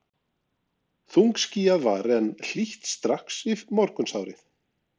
Þungskýjað var, en hlýtt strax í morgunsárið.